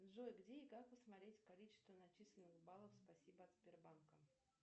джой где и как посмотреть количество начисленных баллов спасибо от сбербанка